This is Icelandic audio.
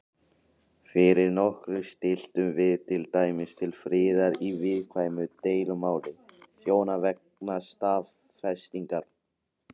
Fyrir nokkru stilltum við til dæmis til friðar í viðkvæmu deilumáli hjóna vegna stafsetningar.